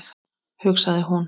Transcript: hugsaði hún.